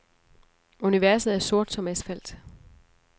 Universet er sort som asfalt.